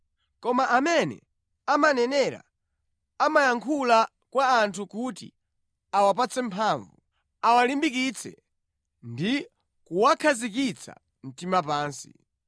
Koma amene amanenera amayankhula kwa anthu kuti awapatse mphamvu, awalimbikitse ndi kuwakhazikitsa mtima pansi.